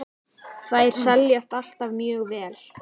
Þær seljast alltaf mjög vel.